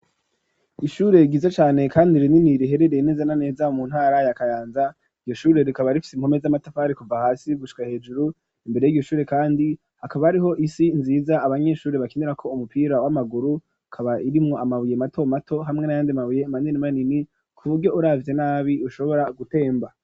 Iishure giza cane kandi rinini riherereye neza na neza mu ntara ya kayanza iyoshure rikaba rifite imkome z'amatafari kuva hasi gushwa hejuru imbere y'igishure kandi hakaba ariho isi nziza abanyeshure bakinirako umupira w'amaguru kaba irimo amabuye mato mato hamwe na yandi mabuye manini manini ku buryo uravize nabi ushobora gutemba.